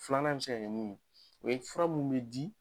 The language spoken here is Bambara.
Filanan bɛ se ka kɛ min ye, o ye fura minnu bɛ di